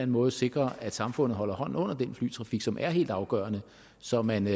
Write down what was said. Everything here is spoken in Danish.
måde sikrer at samfundet holder hånden under den flytrafik som er helt afgørende så man